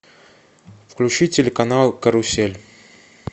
включи телеканал карусель